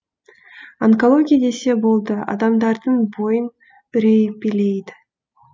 онкология десе болды адамдардың бойын үрей билейді